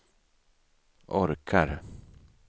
orkar